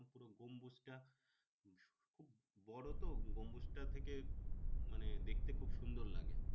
পুরো গম্বুজটা খুব বড়ো তো গম্বুজটা থেকে মানে দেখতে খুব সুন্দর লাগে।